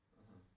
Mhm